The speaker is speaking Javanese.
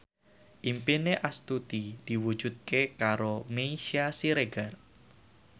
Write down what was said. impine Astuti diwujudke karo Meisya Siregar